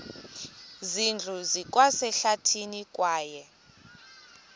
zindlu zikwasehlathini kwaye